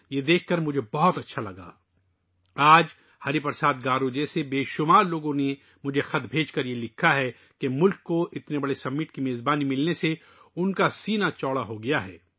آج، ہری پرساد گارو جیسے بہت سے لوگوں نے مجھے خطوط بھیجے ہیں کہ ان کے دل اتنے بڑے سربراہی اجلاس کی میزبانی کرنے والے ملک پر فخر سے بھر گئے ہیں